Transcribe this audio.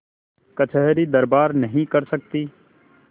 कचहरीदरबार नहीं कर सकती